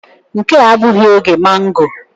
Nke a abụghị oge magọ.